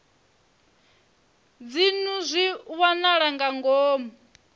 dzinnu zwi wanala nga ngomu